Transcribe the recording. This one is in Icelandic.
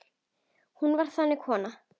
Hún var þannig kona.